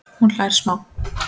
Hún hlær smá.